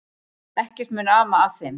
Ekkert mun ama að þeim.